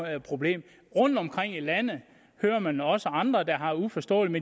er et problem rundtomkring i landet hører man også om andre der har uforståelige